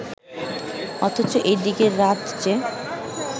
অথচ এদিকে রাত যে